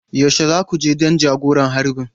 Yaushe za ku je don jagoran harbin?